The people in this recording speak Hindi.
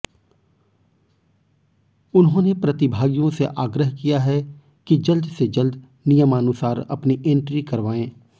उन्होंने प्रतिभागियों से आग्रह किया है कि जल्द से जल्द नियमानुसार अपनी एंट्री करवाएं